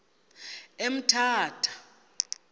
emthatha